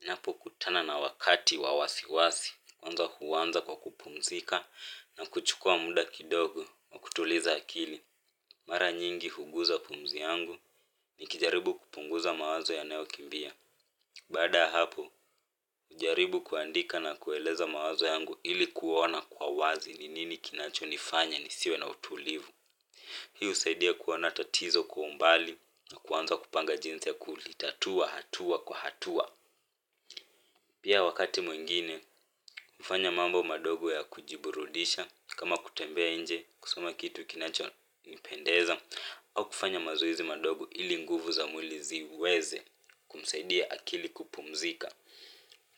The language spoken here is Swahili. Ninapokutana na wakati wa wasiwasi, kwanza huanza kwa kupumzika na kuchukua muda kidogo na kutuliza akili. Mara nyingi huguza pumzi yangu nikijaribu kupunguza mawazo yanayokimbia. Baada ya hapo, hujaribu kuandika na kueleza mawazo yangu ili kuona kwa wazi ni nini kinachonifanya nisiwe na utulivu. Hiu husaidia kuona tatizo kwa umbali na kuanza kupanga jinsi ya kulitatua hatua kwa hatua. Pia wakati mwingine kufanya mambo madogo ya kujiburudisha kama kutembea nje kusoma kitu kinachonipendeza au kufanya mazorzi madogo ili nguvu za mwli ziweze kumsaidia akili kupumzika